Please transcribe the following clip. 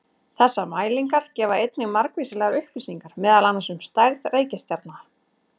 Þessar mælingar gefa einnig margvíslegar upplýsingar meðal annars um stærð reikistjarna.